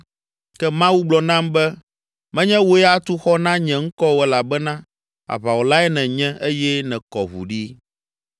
Ke Mawu gblɔ nam be, ‘Menye wòe atu xɔ na nye ŋkɔ o elabena aʋawɔlae nènye eye nèkɔ ʋu ɖi.’